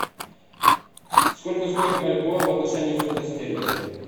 сколько стоит бальбоа в отношении фунта стерлинга